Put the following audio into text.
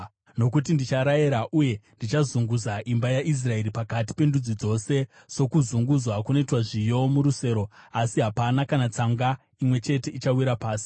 “Nokuti ndicharayira, uye ndichazunguza imba yaIsraeri pakati pendudzi dzose, sokuzunguzwa kunoitwa zviyo murusero, uye hapana kana tsanga imwe chete ichawira pasi.